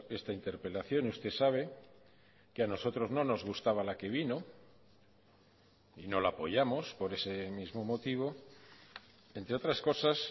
esta interpelación usted sabe que a nosotros no nos gustaba la que vino y no la apoyamos por ese mismo motivo entre otras cosas